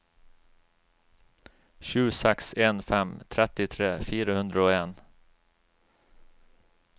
sju seks en fem trettitre fire hundre og en